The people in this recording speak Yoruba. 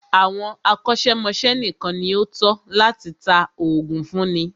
Àwọn akọ́ṣẹ́mọ́ṣẹ́ nìkan ní o tọ́ láti tá oògùn fúnni.